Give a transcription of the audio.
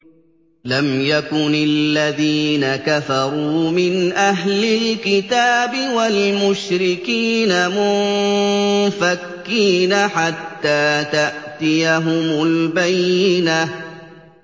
لَمْ يَكُنِ الَّذِينَ كَفَرُوا مِنْ أَهْلِ الْكِتَابِ وَالْمُشْرِكِينَ مُنفَكِّينَ حَتَّىٰ تَأْتِيَهُمُ الْبَيِّنَةُ